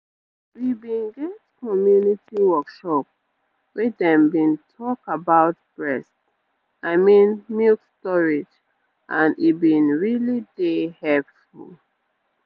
we been get community workshop wey dem been talk about breast i mean milk storage and e been really dey helpful